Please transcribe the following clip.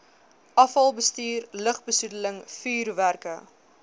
afvalbestuur lugbesoedeling vuurwerke